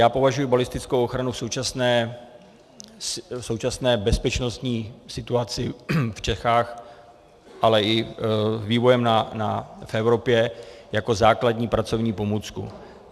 Já považuji balistickou ochranu v současné bezpečnostní situaci v Čechách, ale i vývojem v Evropě jako základní pracovní pomůcku.